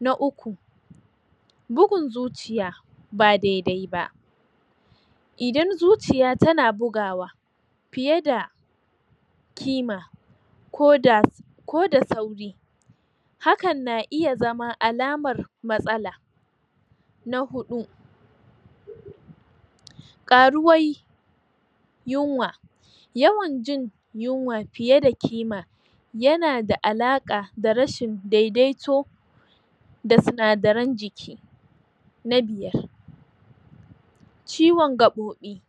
na uku bugun zuciya ba dedaiba idan zuciya tana bugawa fiyeda kima koda ko da sauri hakan na iya zama alamar matsala na huɗu ƙaruwai yinwa yawanjin yinwa fiye da ƙima yana da alaƙa da rashi dedaito da sina daran jiki na biyar ciwon ga ɓoɓi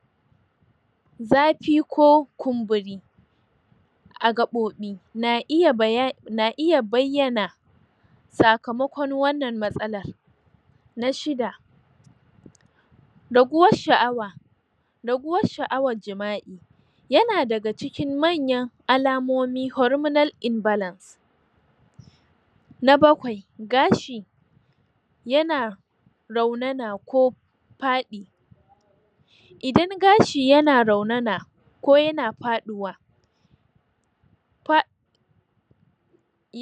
zafi ko kumburi a gaɓoɓi na iya baya na iya bayyana sakamakon wannan matsalan na shidda raguwar shu awa raguwar shu'awar jima'i yana daga cikin mayan alamomi horiminal inbalan na bakwai gashi yana raunana ko faɗi idan gashi yana raunana ko yana faɗuwa fa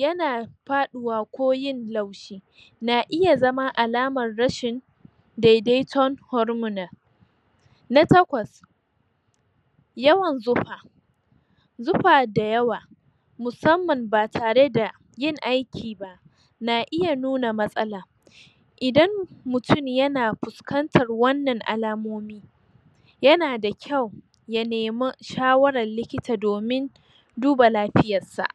yana faɗuwa ko yin laushi na iya zama alamar rashin dedaiton horiminon na takwas yawan zufa zufa da yawa musamman ba tareda yin aiki na iya nuna matsala idan mutun yana fuskantan wannan alamomi yana da kyau ya nema shawarar likita domin duba lafiyarsa